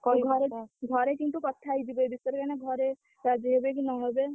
ଘରେ କିନ୍ତୁ କଥା ହେଇଯିବୁ ଏ ବିଷୟରେ କାଇଁ ନା ଘରେ ରାଜି ହେବେ କି ନ ହେବେ।